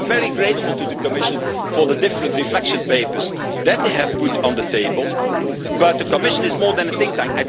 I am very grateful to the Commission for the different reflection papers that they have put on the table, but the Commission is more than a think tank.